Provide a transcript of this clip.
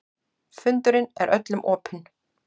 Fundurinn er öllum opinn